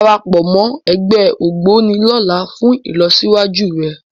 Darapọ̀ mọ́ ẹgbẹ́ Ògboni lọ́la fún ìlọsíwájú rẹ